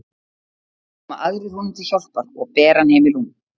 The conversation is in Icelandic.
Þá koma aðrir honum til hjálpar og bera hann heim í rúm.